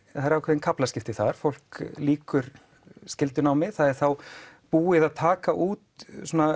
það er ákveðin kaflaskipti þar fólk lýkur skyldunámi það er þá búið að taka út